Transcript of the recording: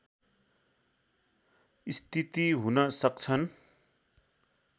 स्थिति हुन सक्छन्